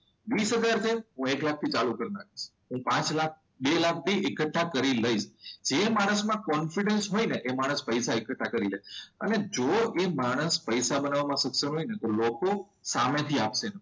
વીસ રૂપિયા છે તો હું એક લાખથી ચાલુ કરી નાખીશ. પાંચ લાખ બે લાખ એકઠા કરી લઈશ. જે માણસમાં કોન્ફિડન્સ હોય ને એ માણસ પૈસા એકઠા કરી શકે અને જો એ માણસ પૈસા બનાવવામાં સક્ષમ હોય ને તો લોકો સામેથી આપશે.